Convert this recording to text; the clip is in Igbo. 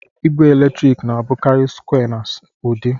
igbe eletrik na-abụkarị sụkwé na udi